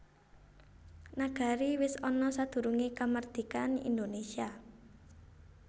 Nagari wis ana sadurungé kamardikan Indonésia